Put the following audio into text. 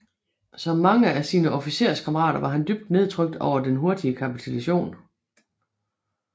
Som mange af sine officerskammerater var han dybt nedtrykt over den hurtige kapitulation